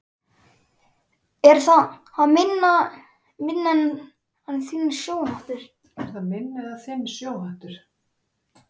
Er það minn eða þinn sjóhattur